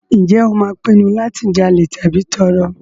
Ǹjẹ́ o máa pinnu láti jalè tàbí tọrọ?